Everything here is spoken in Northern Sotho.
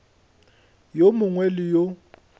gore yo mongwe le yo